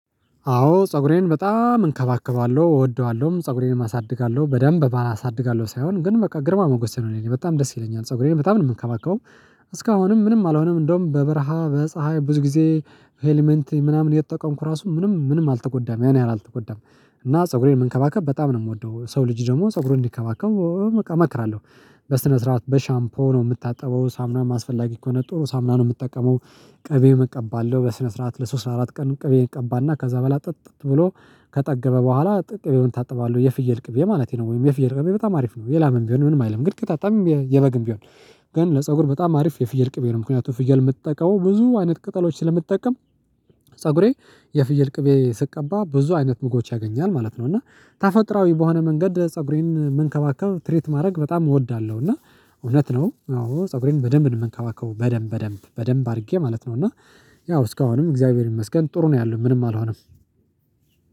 አዎ ፀጉሬን በጣም እንከባከባለሁ እወደዋለሁም ፀጉሬንም አሳድጋለሁ በደንብ ባላሳድጋለሁ ሳይሆን ግን በቃ ግርማ መጎሴ ነው እኔ በጣም ደስ ይለኛል ፀጉሬን በጣም ነው የምንከባከበው። እስካሁንም ምንም አላሆንም እንደውም በበረሃ በፀሀይ ብዙ ጊዜ ሄልመንት ምናምን የተጠቀምኩ ራሱ ምንም ምንም አልተጎዳም ያን ያህል አልተጎዳም። እና ፀጉሬን መንከባከብ በጣም ነው የምወደው ሰው ልጅ ደግሞ ፀጉሩን እንዲከባከብ እመክራለሁ። በስነ ስርዓት በሻምፖ ነው የምታጠበው ሳምናም አስፈላጊ ከሆነ ጥሩ ሳምና ነው የምጠቀመው። ቅቤም እቀባለሁ በስነ ስርዓት ለሶስት አራት ቀን ቅቤ ቀባና ከዛ በኋላ ጥጥት ብሎ ከጠገበ በኋላ ጥቅቤውን እታጠበዋለሁ የፍየል ቅቤ ማለቴ ነው ወይም የፍየል ቅቤ በጣም አሪፍ ነው የላመም ቢሆን ምንም አይልም ግን ከታጣም የበግም ቢሆን። ግን ለፀጉር በጣም አሪፍ የፍየል ቅቤ ነው ምክንያቱም ፍየል የምትጠቀመው ብዙ አይነት ቅጠሎች ስለምትጠቀም። ፀጉሬ የፍየል ቅቤ ስቀባ ብዙ አይነት ምግቦች ያገኛል ማለት ነው። እና ተፈጥሯዊ በሆነ መንገድ ፀጉሬን መንከባከብ ትሪት ማድረግ በጣም እወዳለሁ። እና እውነት ነው አዎ ፀጉሬን በደንብ ነው የምንከባከበው በደንብ በደንብ በደንብ አድርጌ ማለት ነው። እና ያው እስካሁንም እግዚአብሔር ይመስገን ጥሩ ነው ያለው ምንም አልሆነም።